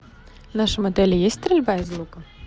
в нашем отеле есть стрельба из лука